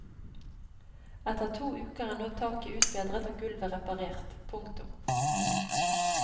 Etter to uker er nå taket utbedret og gulvet reparert. punktum